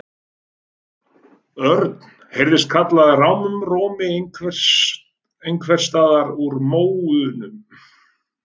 Örn! heyrðist kallað rámum rómi einhvers staðar úr móunum.